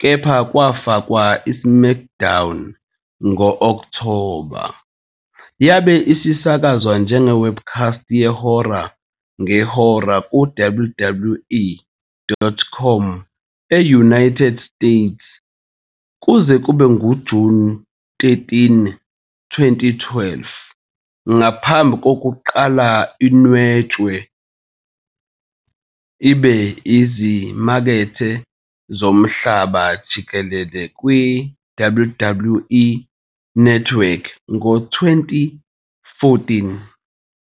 kepha kwafakwa "iSmackDown" ngo-Okthoba. Yabe isisakazwa njenge- webcast yehora ngehora kuWWE.com e-United States kuze kube nguJuni 13, 2012, ngaphambi kokuba inwetshwe ibe izimakethe zomhlaba jikelele kwiWWE Network ngo-2014.